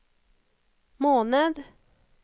måned